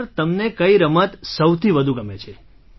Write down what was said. sir તમને કઈ રમત સૌથી વધુ ગમે છે